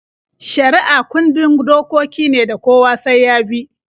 Shari'a kundin dokoki ne da kowa sai ya bi.